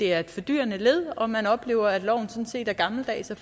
er et fordyrende led og hvor man oplever at loven sådan set er gammeldags og